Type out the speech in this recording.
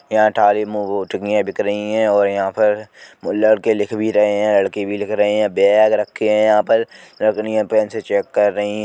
यहाँ बिक रही है और यहाँ पर वो लड़के लिख भी रहे हैं लड़की भी लिख रहे हैं। बैग रखे है यहाँ पर। लकड़ियां पेन से चेक कर रही --